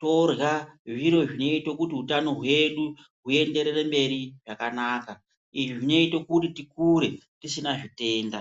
torya zviro zvinoito kuti utano hwedu huenderere mberi zvakanaka. Izvi zvinoito kuti tikure tisina zvitenda.